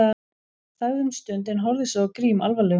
Þagði um stund en horfði svo á Grím alvarlegum augum.